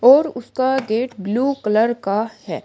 और उसका gate blue colour का है।